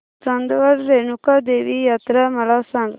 चांदवड रेणुका देवी यात्रा मला सांग